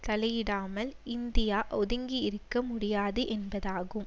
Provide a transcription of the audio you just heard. தலையிடாமல் India ஒதுங்கி இருக்க முடியாது என்பதாகும்